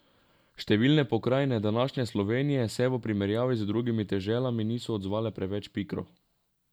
Številne pokrajine današnje Slovenije se v primerjavi z drugimi deželami niso odzvale preveč pikro.